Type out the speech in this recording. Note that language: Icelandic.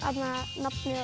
nafnið á